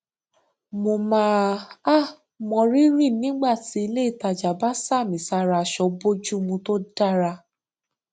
mo máa um mọ rírì nígbà tí ilé ìtajà bá sàmì sára aṣọ bójúmu tó dára